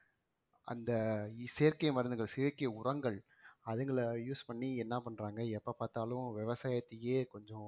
அந்த செயற்கை மருந்துகள் செயற்கை உரங்கள் அதுங்களை use பண்ணி என்ன பண்றாங்க எப்ப பார்த்தாலும் விவசாயத்தையே கொஞ்சம்